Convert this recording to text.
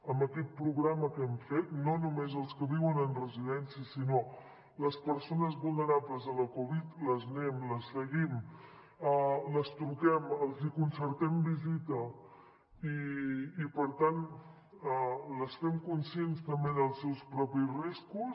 amb aquest programa que hem fet no només als que viuen en residències sinó a les persones vulnerables a la covid les seguim les truquem els concertem visita i per tant les fem conscients també dels seus propis riscos